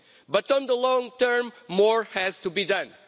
But in the long term, more has to be done.